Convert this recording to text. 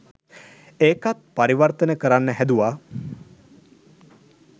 එකත් පරිවර්තන කරන්න හැදුවා